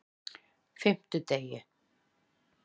fimmtudegi